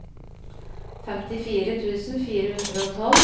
femtifire tusen fire hundre og tolv